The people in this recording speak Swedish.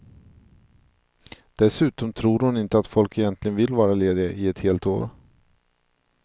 Dessutom tror hon inte att folk egentligen vill vara lediga i ett helt år.